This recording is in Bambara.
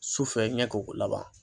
Sufɛ ɲɛ ko laban.